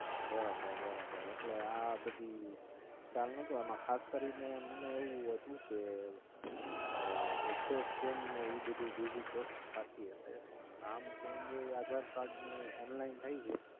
બરાબર બરાબર એટલે આ બધી ખ્યાલ નોટો એમાં ખાસ કરીને મને એવું હતું કે Address Change ને ઈ બધું બીજી cost થાતી હશે નામ Change એય Aadhar card નું Online થાય છે